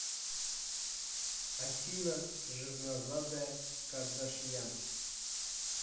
афина жирнозадая кардашьян